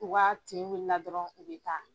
U ka tin wili la dɔrɔn u bɛ taa